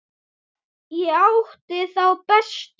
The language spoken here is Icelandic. Ég átti þá bestu.